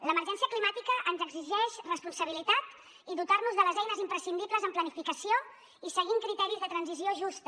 l’emergència climàtica ens exigeix responsabilitat i dotar nos de les eines imprescindibles en planificació i seguint criteris de transició justa